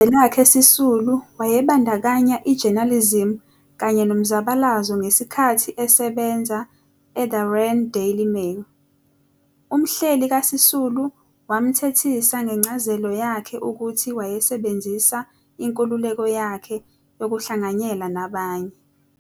UZwelakhe Sisulu wayebandakanya i-journalism kanye nomzabalazo ngesikhathi esebenza e-"The Rand Daily Mail". Umhleli kaSisulu wamthethisa ngencazelo yakhe ukuthi wayesebenzisa inkululeko yakhe yokuhlanganyela nabanye.